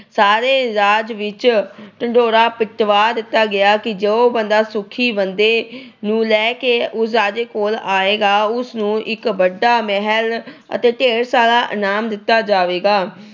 ਸਾਰੇ ਰਾਜ ਵਿੱਚ ਢਿੰਡੋਰਾ ਪਿਟਵਾ ਦਿੱਤਾ ਗਿਆ ਕਿ ਜੋ ਬੰਦਾ ਸੁਖੀ ਬੰਦੇ ਨੂੰ ਲੈ ਕੇ ਉਸ ਰਾਜੇ ਕੋਲ ਆਏਗਾ, ਉਸ ਨੂੰ ਇੱਕ ਵੱਡਾ ਮਹਿਲ ਅਤੇ ਢੇਰ ਸਾਰਾ ਇਨਾਮ ਦਿੱਤਾ ਜਾਵੇਗਾ।